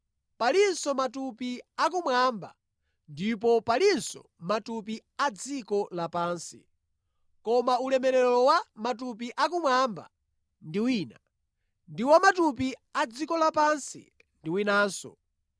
Palinso matupi akumwamba ndipo palinso matupi a dziko lapansi; koma ulemerero wa matupi akumwamba ndi wina, ndi wa matupi a dziko lapansi ndi winanso.